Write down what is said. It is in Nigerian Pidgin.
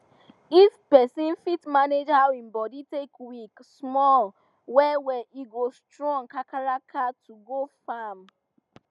if person fit manage how him body take weak small well well e go strong kakaraka to go farm